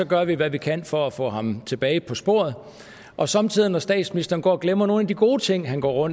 gør vi hvad vi kan for at få ham tilbage på sporet og somme tider når statsministeren går og glemmer nogle af de gode ting han går